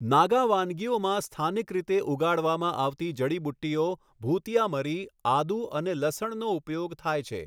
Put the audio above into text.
નાગા વાનગીઓમાં સ્થાનિક રીતે ઉગાડવામાં આવતી જડીબુટ્ટીઓ, ભૂતિયા મરી, આદુ અને લસણનો ઉપયોગ થાય છે.